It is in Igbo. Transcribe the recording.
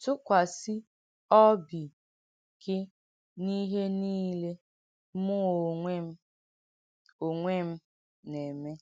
“TÙKWÀSÍ ỌBÌ GỊ N’ÌHÉ NÌLÈ MỤ́ ÓNWÈ M̀ ÓNWÈ M̀ NÀ-ÈMÈ